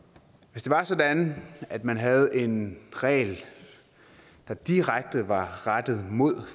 hvis det var sådan at man havde en regel der direkte var rettet mod